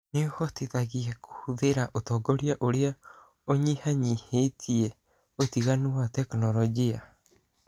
Nĩ ĩhotithagia kũhũthĩra ũtongoria ũrĩa ũnyihanyihĩtie ũtiganu wa tekinolonjĩ.